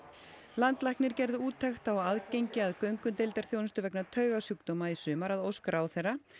landlæknir gerði úttekt á aðgengi að göngudeildarþjónustu vegna taugasjúkdóma í sumar að ósk ráðherra